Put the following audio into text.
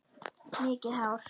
Mikið hár.